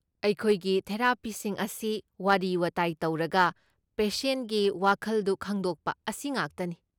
ꯑꯩꯈꯣꯏꯒꯤ ꯊꯦꯔꯥꯄꯤꯁꯤꯡ ꯑꯁꯤ ꯋꯥꯔꯤ ꯋꯥꯇꯥꯏ ꯇꯧꯔꯒ ꯄꯦꯁꯦꯟꯒꯤ ꯋꯥꯈꯜꯗꯨ ꯈꯪꯗꯣꯛꯄ ꯑꯁꯤꯉꯥꯛꯇꯅꯤ꯫